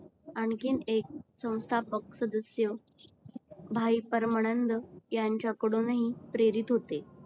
आणखीन एक संस्थापक सदस्य भाई परमानंद यांच्याकडूनही प्रेरीत होते.